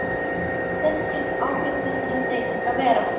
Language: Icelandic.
En hver skyldu áhrif þessara breytinga vera?